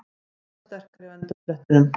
Grótta sterkari á endasprettinum